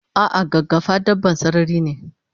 Ah ah gaggafa dabban sarari ne